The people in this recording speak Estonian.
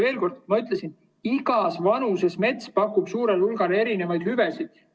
Veel kord: ma ütlesin, et igas vanuses mets pakub suurel hulgal erinevaid hüvesid.